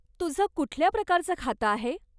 तुझं कुठल्या प्रकाराचं खातं आहे?